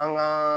An ka